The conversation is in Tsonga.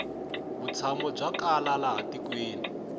vutshamo bya kala laha tikweni